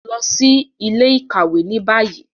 Lọ si ile-ikawe ni bayi